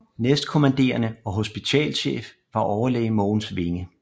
Næstkommanderende og hospitalschef var overlæge Mogens Winge